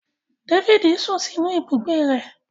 Dáfídì sún sínú ibùgbé rẹ̀